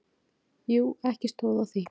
Jú, ekki stóð á því.